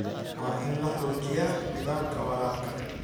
Waa in la xoojiyaa nidaamka waraabka.